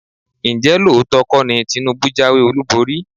Ǹjẹ́ lóòótọ́ kọ́ ni Tinubu jáwé olúborí?